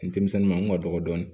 Denmisɛnnin ma dɔgɔ dɔɔnin